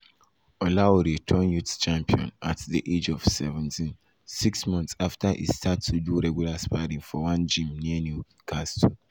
olaore turn youth champion at di age of seventeensix seventeensix months afta e start to do regular sparring for one gym near newcastle.